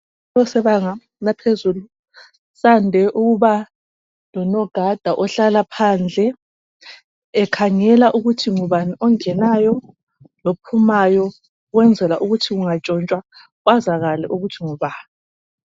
Kusibanga saphezulu sande ukuba lonogada ohlala phandle ekhangela ukuthi ngubani ongenayo lophumayo ukwenzela ukuthi kungatshontshwa kwazakale ukuthi ngubani.